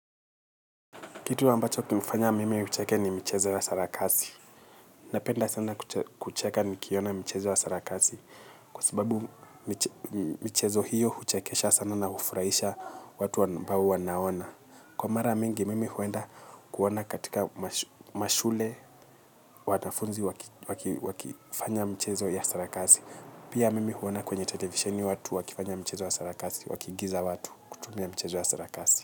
Kitu ambacho kimefanya mimi ucheke ni michezo ya sarakasi. Napenda sana kucheka nikiona michezo ya sarakasi. Kwa sababu michezo hiyo huchekesha sana na hufurahisha watu ambawu wanaona. Kwa mara mingi mimi huenda kuona katika mashule wanafunzi wakifanya mchezo ya sarakasi. Pia mimi huona kwenye televisheni watu wakifanga mchezo ya sarakasi wakiigiza watu kutumia mcheza ya sarakasi.